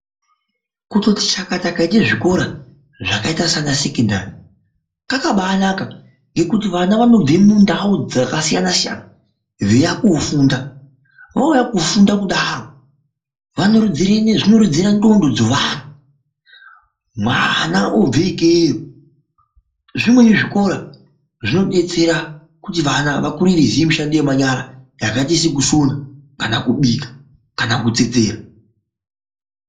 Kutoti chakata kwaita zvikora zvakaita sana sekendari kwakabanaka ngekuti vava vanobve mundau dzakasiyana siyana veiuya kofunda vouya kofunda kudaro zvinorodza ndxondo dzevana mwana obve ikeyo. Zzvimweni zvikora zvinodetsera kuti vana vakure veiziya mishando yemanyara yakaita sekusona kana kubika kana kutsetsera.